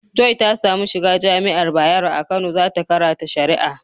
Joy ta samu shiga jami'ar bayaro a Kano za ta karata shari'a.